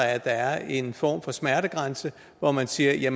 at der er en form for smertegrænse hvor man siger